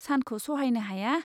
सानखौ सहायनो हाया।